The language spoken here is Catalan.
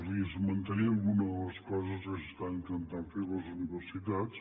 els esmentaré alguna de les coses que s’estan intentant fer a les universitats